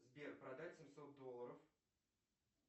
сбер продать семьсот долларов